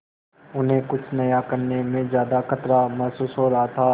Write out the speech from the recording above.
उन्हें कुछ नया करने में ज्यादा खतरा महसूस हो रहा था